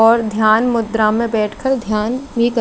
और धियान मुध्रा में बेठे कर धियान भी कर--